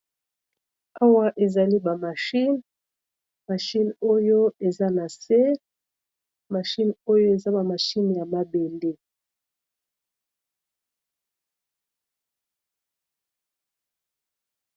Awa ezali ba machine. Machine oyo eza na se, machine oyo eza na machine ya mabende.